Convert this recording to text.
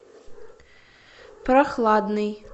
прохладный